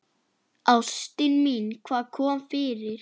Ástin mín, hvað kom fyrir?